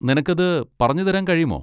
നിനക്കത് പറഞ്ഞുതരാൻ കഴിയുമോ?